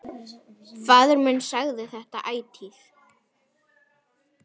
Faðir minn sagði þetta ætíð.